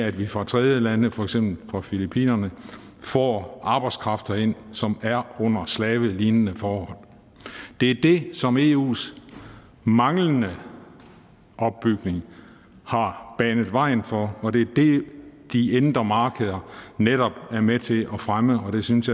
at vi fra tredjelande for eksempel fra filippinerne får arbejdskraft ind som her under slavelignende forhold det er det som eus manglende opbygning har banet vejen for og det er det de indre markeder netop er med til at fremme og det synes